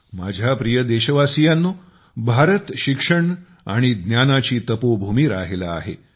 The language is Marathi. माझ्या प्रिय देशवासीयानो भारत शिक्षण आणि ज्ञानाची तपो भूमी राहिला आहे